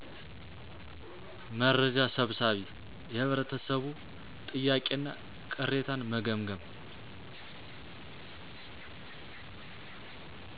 መርጃ ሰብሳቢ የህብረተሰቡ ጥያቄ እና ቅሬታን መገምገም